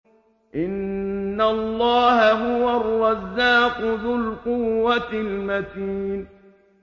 إِنَّ اللَّهَ هُوَ الرَّزَّاقُ ذُو الْقُوَّةِ الْمَتِينُ